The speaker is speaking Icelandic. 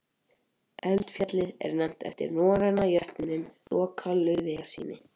Eldfjallið er nefnt eftir norræna jötninum Loka Laufeyjarsyni.